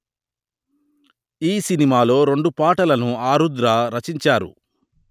ఈ సినిమాలో రెండు పాటలను ఆరుద్ర రచించారు